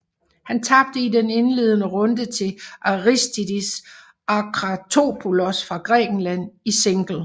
Han tabte i den indledende runde til Aristidis Akratopoulos fra Grækenland i single